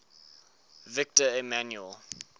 victor emmanuel